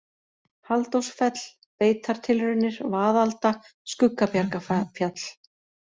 Halldórsfell, Beitartilraunir, Vaðalda, Skuggabjargafjall